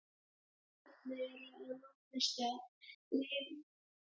Ef gosefnin eru að langmestu leyti gjóska er talað um þeyti- eða sprengigos.